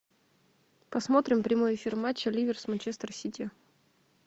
посмотрим прямой эфир матча ливер с манчестер сити